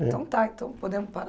Então tá, então podemos